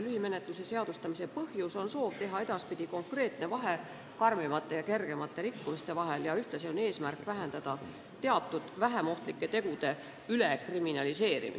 Lühimenetluse seadustamise põhjus on soov teha edaspidi konkreetne vahe raskemate ja kergemate rikkumiste vahel, ka on eesmärk vähendada teatud vähem ohtlike tegude ülekriminaliseerimist.